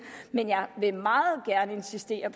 men jeg vil insistere